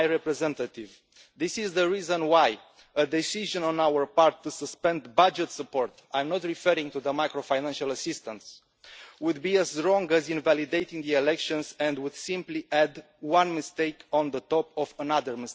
High Representative, this is the reason why a decision on our part to suspend budget support I am not referring to the macro-financial assistance would be as wrong as invalidating the elections, and would simply add one mistake on top of another.